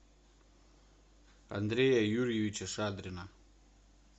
андрея юрьевича шадрина